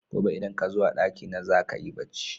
Gobe idan kazo a ɗaki na zaka yi bacci